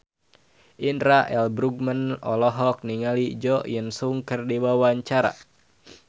Indra L. Bruggman olohok ningali Jo In Sung keur diwawancara